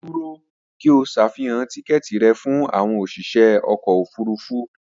Dúró! kí o ṣàfihàn tíkẹ́ẹ̀tì rẹ fún àwọn òsìṣẹ́ ọkọ̀ òfurufú